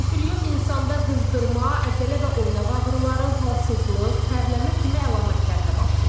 Bruselyoz insanda qızdırma, əzələ və oynaq ağrıları, halsızlıq, tərləmə kimi əlamətlərlə başlayır.